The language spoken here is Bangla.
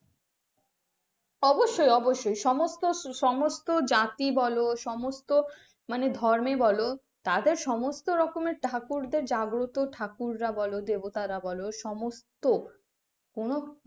অবশ্যই অবশ্যই সমস্ত সমস্ত জাতির বলো সমস্ত ধর্মে বল তাদের সমস্ত রকম এর জাগ্রত ঠাকুরা বলো দেবতারা বলো সমস্ত কোন,